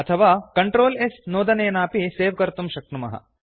अथवा control S नोदनेनापि save कर्तुं शक्नुमः